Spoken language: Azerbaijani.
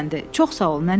Çox sağ ol nənə.